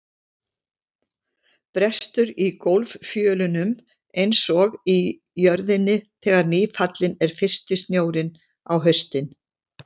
Brestur í gólffjölunum einsog í jörðinni þegar nýfallinn er fyrsti snjórinn á haustin.